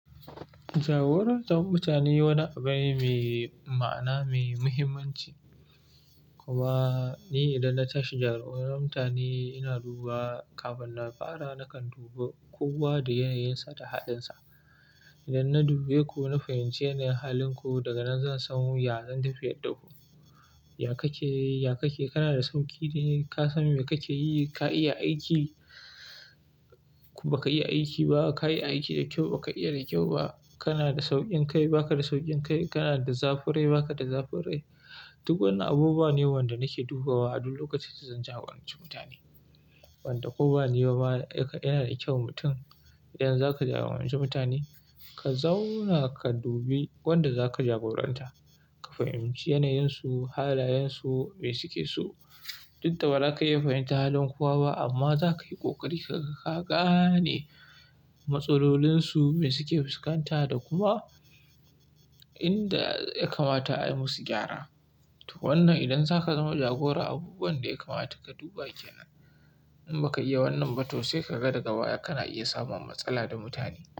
Jagorantar mutane wani abu ne mai ma'ana, mai muhimmanci. Kuma ni idan na tashi jagorantar mutane, ina duba kafin na fara, nakan duba kowa da yanayinsa da halinsa. Idan na dubi ku na fahimci yanayin halinku daga nan zan samu yadda zan tafi yarda ku. Ya ka ke, ya ka ke, kana da sauƙi ne? Ka san me kake yi? Ka iya aiki? Ku ba ka iya aiki ba. Ka yi aiki da kyau, ba ka iya da kyau ba. Kana da sauƙin kai, ba ka da sauƙin kai. Kana da zafin rai, ba ka da zafin rai. Duk wannan abubuwa ne wanda nake dubawa, a duk lokacin zan jagoranci mutane. Wanda koba ni bama yana da kyau mutum. Idan zaka jagoranci mutane, ka zauna ka dubi wanda zaka jagoranta. Ka fahimci yanayin su, halayen su, me suke so. Duk da ba za ka iya fahimtar halin kowa ba amma za ka yi ƙoƙari ka gane matsalolinsu, me suke fuskanta da kuma inda ya kamata ayi musu gyara. Wannan idan zaka zama jagora, abubuwan da ya kamata ka duba kenan. In ba ka iya wannan ba to sai ka ga daga baya kana iya samun matsala da mutane.